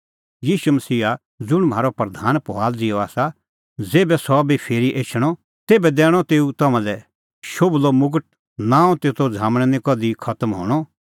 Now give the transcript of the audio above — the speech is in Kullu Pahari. ईशू मसीहा ज़ुंण म्हारअ प्रधान फुआला ज़िहअ आसा ज़ेभै सह भी फिरी एछणअ तेभै दैणअ तेऊ तम्हां लै शोभलअ मुगट नांम तेतो झ़ामण निं कधि खतम हणअ